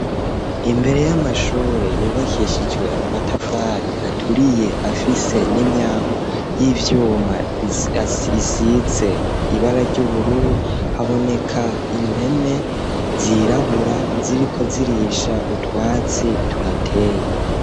Imbere y'amashure yubakishijwe amatafari aturiye afise n'imyangu y'ivyuma isi ze ibara ry'ubururu haboneka impene zirabura ziriko zirisha utwatsi tuhateye.